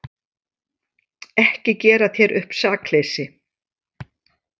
Ekki gera þér upp sakleysi.